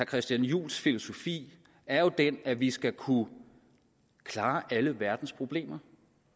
christian juhls filosofi er jo det at vi skal kunne klare alle verdens problemer